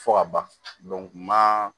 Fɔ ka ban maa